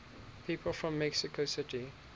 people from mexico city